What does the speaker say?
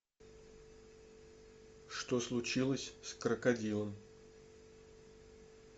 что случилось с крокодилом